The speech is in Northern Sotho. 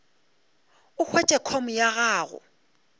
o hwetše com ya gago